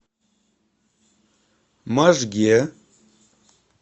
можге